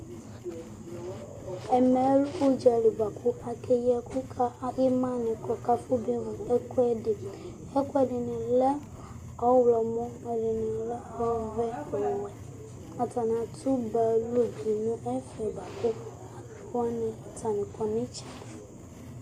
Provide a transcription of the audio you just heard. Ɛmɛlɛ udzali bʋakʋ ake yi ɛku kʋ ima ni kʋ afɔba evu ɛkʋɛdi Ɛkʋɛdini lɛ ɔwlɔmɔ, ɛdiní lɛ ɔvɛ, ɔwɛ Atani atsi ba lo du nu ɛfɛ kʋ alu wani atani kɔ nʋ itsɛdi